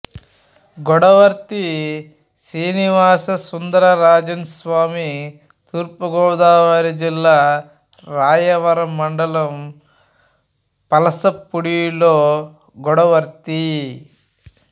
గొడవర్తి శ్రీనివాస సుందర రాజన్ స్వామి తూర్పుగోదావరి జిల్లా రాయవరం మండలం పసలపూడిలో గొడవర్తి